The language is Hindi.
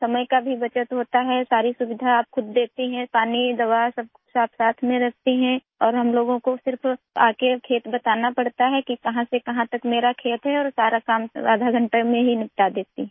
समय का भी बचत होता हैसारी सुविधा आप खुद देखती हैं पानी दवा सब कुछ साथसाथ में रखती है और हम लोगों को सिर्फ आकर खेत बताना पड़ता है कि कहां से कहां तक मेरा खेत है और सारा काम आधे घंटे में ही निपटा देती हूँ